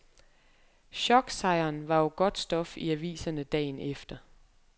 Choksejren var jo godt stof i aviserne dagen efter.